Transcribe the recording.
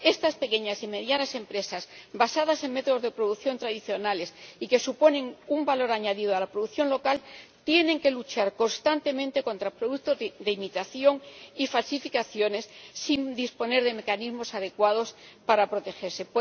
Estas pequeñas y medianas empresas basadas en métodos de producción tradicionales y que suponen un valor añadido a la producción local tienen que luchar constantemente contra productos de imitación y falsificaciones, sin disponer de mecanismos adecuados para protegerse.